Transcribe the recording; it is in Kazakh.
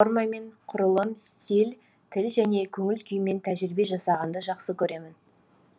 формамен құрылым стиль тіл және көңіл күймен тәжірибе жасағанды жақсы көремін